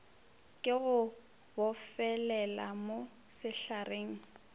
ke go bofelele mo sehlareng